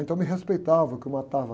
Então me respeitavam, que eu matava...